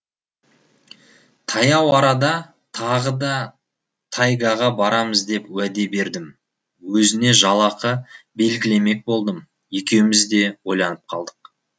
таяу арада тағы да тайгаға барамыз деп уәде бердім өзіне жалақы белгілемек болдым екеуіміз де ойланып қалдық